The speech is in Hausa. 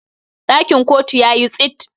dakin kotu ya yi tsit